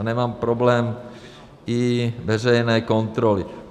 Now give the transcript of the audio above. Já nemám problém i veřejné kontroly.